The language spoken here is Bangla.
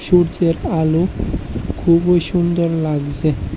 সূর্যের আলো খুবই সুন্দর লাগছে।